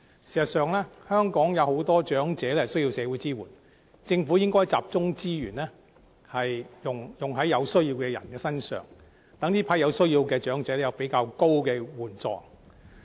事實上，香港有很多長者需要社會支援，政府應集中資源幫助有需要的長者身上，讓他們獲得較高金額的援助。